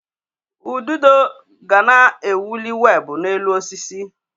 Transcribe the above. Ududo ga na-ewuli weebụ n'elu osisi.